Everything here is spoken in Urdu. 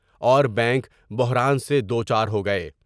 اور ببینک بحران سے دو چار ہو گئے ۔